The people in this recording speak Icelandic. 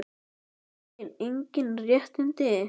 Hafsteinn: Engin réttindi?